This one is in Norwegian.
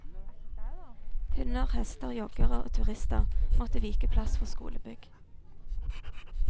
Hunder, hester, joggere og turister måtte vike plass for skolebygg.